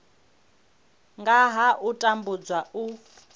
nga ha u tambudzwa u